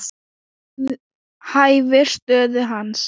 Hæfir stöðu hans.